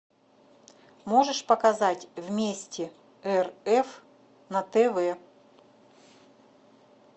можешь показать вместе рф на тв